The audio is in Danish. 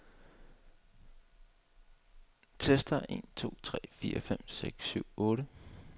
Tester en to tre fire fem seks syv otte.